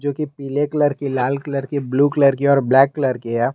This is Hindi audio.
जो कि पीले कलर की लाल कलर की ब्लू कलर की और ब्लैक कलर की है।